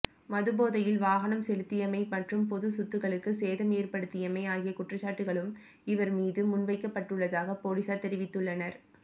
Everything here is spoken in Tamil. மதுபோதையில் வாகனம் செலுத்தியமை மற்றும் பொதுச் சொத்துக்களுக்கு சேதம் ஏற்படுத்தியமை ஆகிய குற்றச்சாட்டுக்களும் இவர் மீது முன்வைக்கப்பட்டுள்ளதாக பொலிஸார் தெரிவித்துள்ளனர்